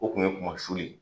O kun ye kumasuli ye.